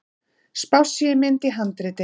Spássíumynd í handriti.